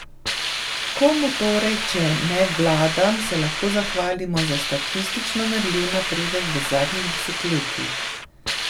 Komu torej, če ne vladam, se lahko zahvalimo za statistično merljiv napredek v zadnjih desetletjih?